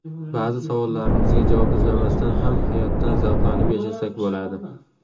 Ba’zi savollarimizga javob izlamasdan ham hayotdan zavqlanib yashasak bo‘ladi.